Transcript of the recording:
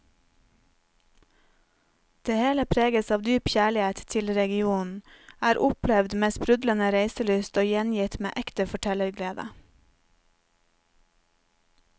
Det hele preges av dyp kjærlighet til regionen, er opplevd med sprudlende reiselyst og gjengitt med ekte fortellerglede.